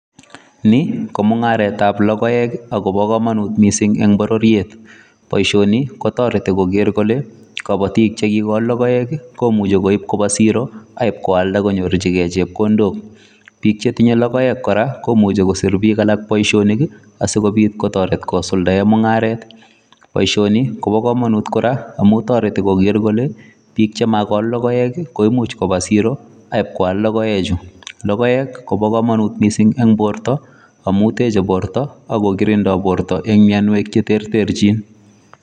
Ni ko mung'aretab logoek agobo komonut mising en bororiet. Boisioni kotoreti koger kole kobotik che kigol logoek komuche koib koba siro ak ibkoalda konyorjige chepkondok. Biik che tinye logoek kora komuche kosir biik alak boisionik asikobit kotoret kosulda mung'aret. Inoni ko bo komonut kora amun toreti koger kole chemagol logoek koimuch koba siro ak ibkoal logoechu. Logoek kobo komonut miisng en borto amun teche borto ak ko kirindo en borto en mianwek che terterchin.